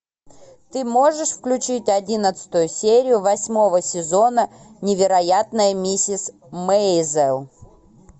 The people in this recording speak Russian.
ты можешь включить одиннадцатую серию восьмого сезона невероятная миссис мейзел